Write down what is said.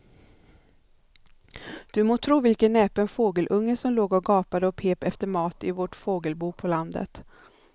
Du må tro vilken näpen fågelunge som låg och gapade och pep efter mat i vårt fågelbo på landet.